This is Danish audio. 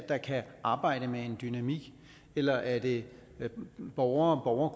der kan arbejde med en dynamik eller er det borgere og